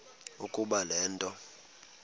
ukuba le nto